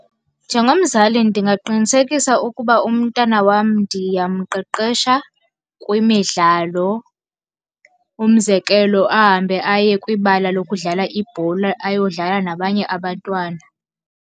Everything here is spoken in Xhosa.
Njengomzali ndingaqinisekisa ukuba umntana wam ndiyamqeqesha kwimidlalo. Umzekelo, ahambe aye kwibala lokudlala ibhola ayodlala nabanye abantwana.